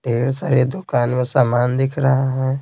ढेर सारे दुकान में सामान दिख रहा है।